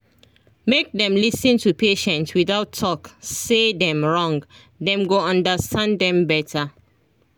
make dem lis ten to patient without talk say dem wrong dem go understand dem better